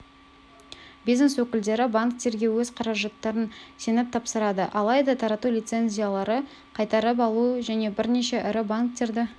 бизнес өкілдері банктерге өз қаражаттарын сеніп тапсырады алайда тарату лицензияларды қайтарып алу және бірнеше ірі банктерді